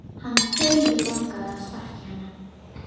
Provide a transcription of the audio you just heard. Hann dauðlangaði að sparka í hana.